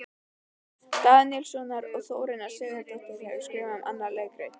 Daníelssonar, og Þórunn Sigurðardóttir hefur skrifað um hana leikrit.